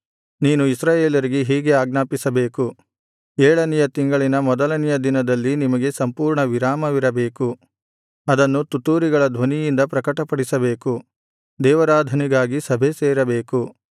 ನೀನು ಇಸ್ರಾಯೇಲರಿಗೆ ಹೀಗೆ ಆಜ್ಞಾಪಿಸಬೇಕು ಏಳನೆಯ ತಿಂಗಳಿನ ಮೊದಲನೆಯ ದಿನದಲ್ಲಿ ನಿಮಗೆ ಸಂಪೂರ್ಣ ವಿರಾಮವಿರಬೇಕು ಅದನ್ನು ತುತ್ತೂರಿಗಳ ಧ್ವನಿಯಿಂದ ಪ್ರಕಟಪಡಿಸಬೇಕು ದೇವಾರಾಧನೆಗಾಗಿ ಸಭೆಸೇರಬೇಕು